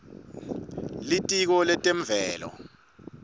litiko letemvelo